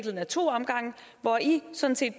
ad to omgange hvor i sådan set